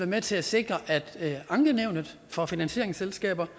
med til at sikre at ankenævnet for finansieringsselskaber